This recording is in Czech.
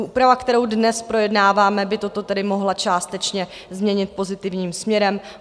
Úprava, kterou dnes projednáváme, by toto tedy mohla částečně změnit pozitivním směrem.